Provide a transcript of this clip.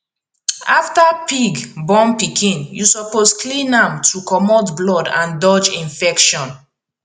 after pig born pikin you suppose clean am to comot blood and dodge infection